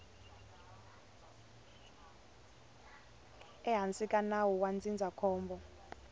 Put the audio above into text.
ehansi ka nawu wa ndzindzakhombo